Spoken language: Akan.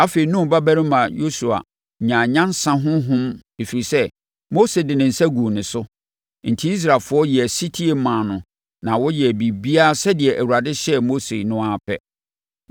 Afei, Nun babarima Yosua nyaa nyansa honhom ɛfiri sɛ, Mose de ne nsa guu ne so. Enti, Israelfoɔ yɛɛ ɔsetie maa no na wɔyɛɛ biribiara sɛdeɛ Awurade hyɛɛ Mose no ara pɛ.